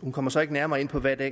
hun kommer så ikke nærmere ind på hvad det